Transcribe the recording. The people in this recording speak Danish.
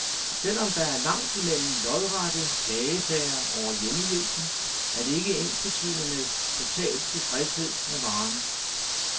Selv om der er langt mellem lodrette klagesager over hjemmehjælpen, er det ikke ensbetydende med total tilfredshed med varen.